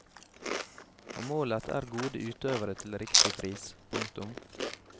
Og målet er gode utøvere til riktig pris. punktum